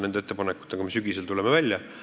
Nende ettepanekutega me sügisel tuleme välja.